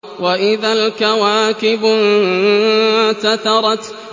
وَإِذَا الْكَوَاكِبُ انتَثَرَتْ